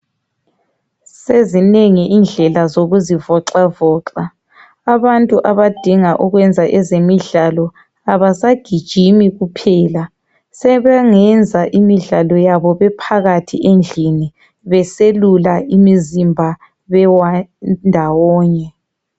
Sezinengi indlela zokuzivoxavoxa. Abantu abadinga ukwenza ezemidlalo, abasagijimi kuphela, sebengenza imidlalo yabo bephakathi endlini, beselula imizimba bendawonye.